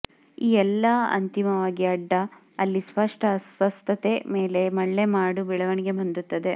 ಈ ಎಲ್ಲಾ ಅಂತಿಮವಾಗಿ ಅಡ್ಡ ಅಲ್ಲಿ ಸ್ಪಷ್ಟ ಅಸ್ವಸ್ಥತೆ ಮೇಲೆ ಮಳ್ಳೆಮಾಡು ಬೆಳವಣಿಗೆ ಹೊಂದುತ್ತದೆ